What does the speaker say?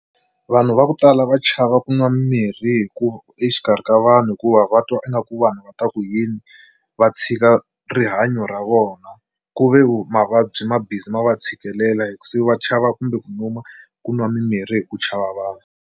Vanhu va ku tala va chava ku nwa mirhi hikuva exikarhi ka vanhu hikuva va twa ingaku vanhu va ta ku yini va tshika rihanyo ra vona ku ve mavabyi ma busy ma va tshikelela se va chava kumbe ku nyuma ku nwa mimirhi hi ku chava vanhu.